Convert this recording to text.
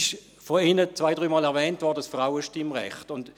Vorhin wurde zwei-, dreimal das Frauenstimmrecht erwähnt.